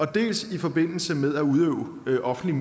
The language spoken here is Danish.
dels i forbindelse med at udøve en offentlig